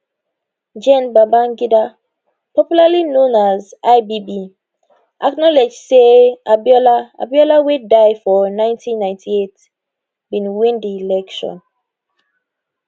gen babangida popularly known as ibb acknowledge say abiola abiola wey die for 1998 bin win di election